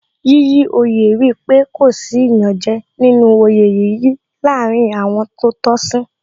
Yíyí oyè rí pé kò sí iyanje nínú oyè yíyí láàárín àwọn tó tọ́ sí